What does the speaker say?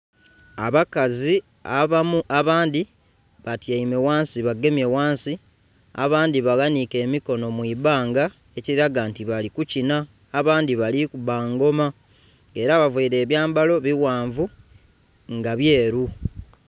Abakazi abamu, abandi batyaime ghansi, bagemye ghansi, abandhi baghaniike emikono mu ibanga ekiraga nti bali kukina. Abandhi bali kuba ngoma, era bavaile ebyambalo bighanvu nga byeru.